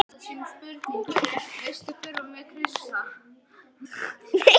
Sumt er svo merkilegt vegna þess hvað það er ómerkilegt.